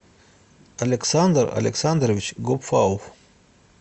александр александрович гопфауф